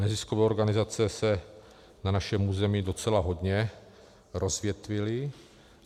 Neziskové organizace se na našem území docela hodně rozvětvily.